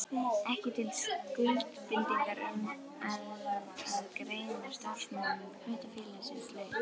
ekki til skuldbindingar um það að greiða starfsmönnum hlutafélagsins laun.